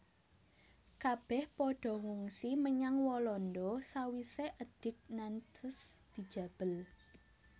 Kabèh padha ngungsi menyang Walanda sawisé Edik Nantes dijabel